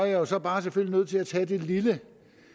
jo bare selvfølgelig nødt til at tage det lille